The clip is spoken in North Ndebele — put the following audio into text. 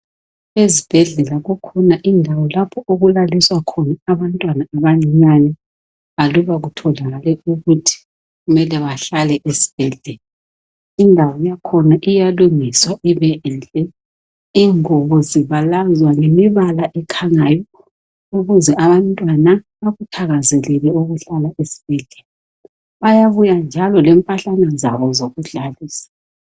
Ezibhedlela kukhona indawo okulaliswa khona abantwana abancane aluba kutholakale ukuthi kumele bahlale esibhedlela, indawo yakhona iyalungiswa ibenhle, ingubo zibalazwa ngemibala ekhangayo, ukuze abantwana bakuthakazelele ukuhlala esibhedlela, bayabuya njalo lempahlana zabo zokudlalisa.